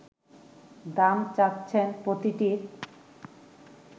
দাম চাচ্ছেন প্রতিটির